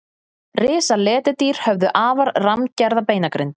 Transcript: risaletidýr höfðu afar rammgerða beinagrind